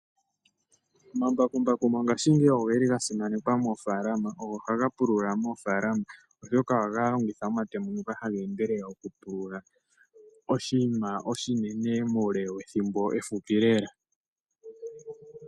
Omambakumbaku mongashingeyi ogeli ga simanekwa moofalama. Ohaga pulula moofalama oshoka ohaga longitha omatemo ngoka haga endelele oku pulula oshinima oshinene muule wethimbo efupi lela.